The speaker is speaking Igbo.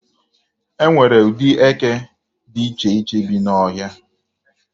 E nwere ụdị eke dị iche iche bi n'ọhịa.